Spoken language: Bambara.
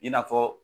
I n'a fɔ